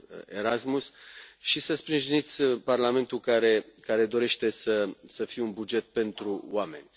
Erasmus, și să sprijiniți Parlamentul, care dorește să fie un buget pentru oameni.